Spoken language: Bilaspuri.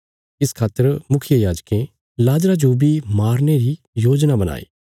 इस खातर मुखियायाजकें लाजरा जो बी मारने री योजना बणाई